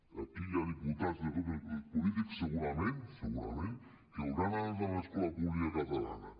i aquí hi ha diputats de tots els grups polítics segurament segurament que hauran anat a l’escola pública catalana